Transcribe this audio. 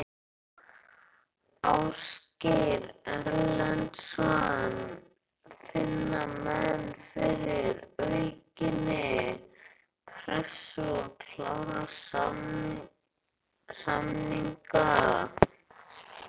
Ásgeir Erlendsson: Finna menn fyrir aukinni pressu, að klára samninga?